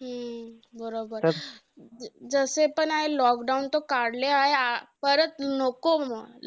हम्म! बरोबर. जसे पण lockdown तर काढले आहे. अं परत नको